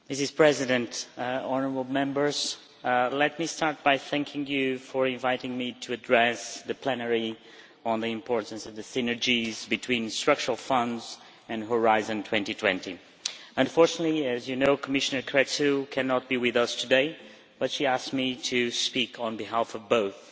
Madam President, let me start by thanking you for inviting me to address the plenary on the importance of the synergies between structural funds and Horizon 2020. Unfortunately, as you know, Commissioner Crețu, cannot be with us today, but she asked me to speak on behalf of both.